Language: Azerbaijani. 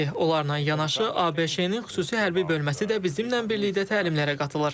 Onlarla yanaşı ABŞ-nin xüsusi hərbi bölməsi də bizimlə birlikdə təlimlərə qatılır.